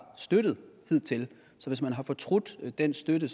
støttet hidtil så hvis man har fortrudt den støtte